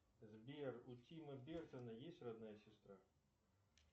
сбер у тима бертона есть родная сестра